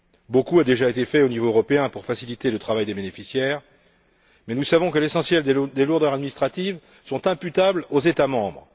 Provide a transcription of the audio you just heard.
Beaucoup a déjà été fait au niveau européen pour faciliter le travail des bénéficiaires, mais nous savons que l'essentiel des lourdeurs administratives est imputable aux États membres.